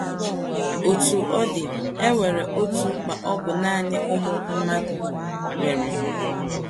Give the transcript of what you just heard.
Otú ọ̀ dị,e nwerè otu mkpa ọ̀ bụ nanị ụmụ mmadụ nwere.